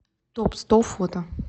топсто фото